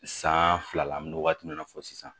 San fila la an bɛ waati min na fɔ sisan